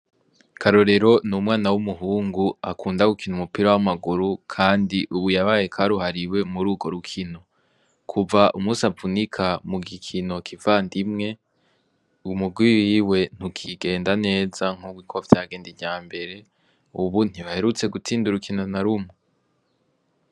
Karorero n'umwana w'umuhungu akunda gukina umupira wamaguru kandi ubu yabaye karuhariwe mururwo rukino. Kuva umunsi avunika mugikino kivandimwe, umurwi wiwe ntukigenda neza nkuko vyagenda iryambere, ubu ntibaherutse gutsinda urukino narumwe .